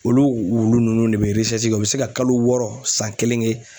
Olu wulu ninnu de bɛ u bɛ se ka kalo wɔɔrɔ san kelen kɛ